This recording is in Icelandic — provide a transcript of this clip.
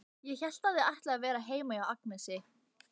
Ég hélt að þið ætluðuð að vera heima hjá Agnesi.